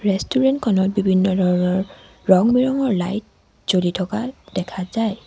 Restaurant খনত বিভিন্ন ধৰণৰ ৰং বিৰঙৰ লাইট জ্বলি থকা দেখা যায়।